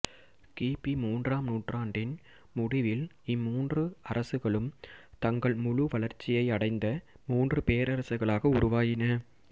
கி பி மூன்றாம் நூற்றாணடின் முடிவில் இம்மூன்று அரசுகளும் தங்கள் முழு வளர்ச்சியை அடைந்த மூன்று பேரரசுகளாக உருவாயின